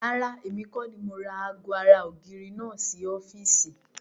Rárá, èmi kọ́ni ó ra ago ara ògiri náà sì ọ́fíìsì.